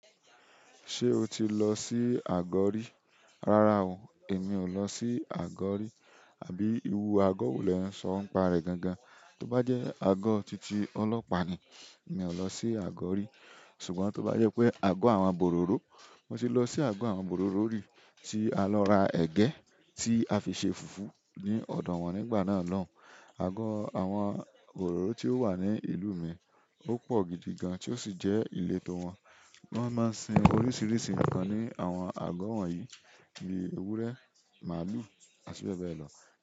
Se o ti lo si ago ri. Rara o emi o lo si ago ri. Àbí ìrú àgọ́ wo lẹ ń sọ nipàrẹ́ gan gan? Tóbá jẹ́ àgọ́ titi ọlọ́pàá ni, mi ò lọ sí àgọ́ rí. Ṣùgbọ́n tó bá jẹ́ pé àgọ́ àwọn bororo, mo ti lọ sí àgọ́ àwọn bororo rí tí a lọ ra ẹ̀gẹ́ tí a fi ṣe fùfú ní ọ̀dọ̀ wọn nígbà náà lọun. Àgọ́ àwọn bororo tí ó wà ní ìlú mi ó pọ̀ gidigan tí ó sì jẹ́ ileto wọn. Won máa ń sin oríṣiríṣi nǹkan ní àwọn àgọ́ wọ̀nyí; bíi ewúrẹ́, màlúù, àti bẹ́ẹ̀ bẹ́ẹ̀ lọ.